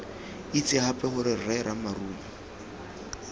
itse gape gore rre ramarumo